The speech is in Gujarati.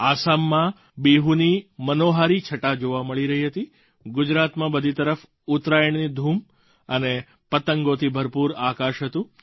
આસામમાં બિહુની મનોહારી છટા જોવા મળી રહી હતી ગુજરાતમાં બધી તરફ ઉત્તરાયણની ધૂમ અને પતંગોથી ભરપૂર આકાશ હતું